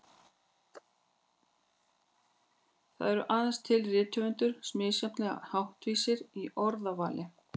Það eru aðeins til rithöfundar misjafnlega háttvísir í orðavali.